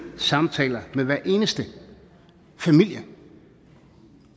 samtaler med hver eneste familie